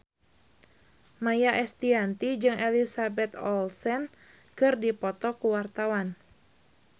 Maia Estianty jeung Elizabeth Olsen keur dipoto ku wartawan